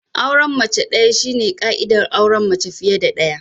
Auren mace daya shine ka'idar auren mace fiye da daya.